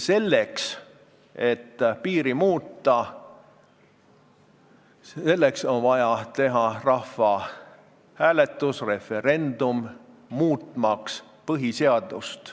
Selleks et piiri muuta, on vaja teha rahvahääletus, referendum, muutmaks põhiseadust.